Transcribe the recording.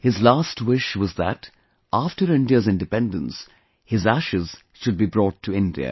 His last wish was that after India's independence, his ashes should be brought to India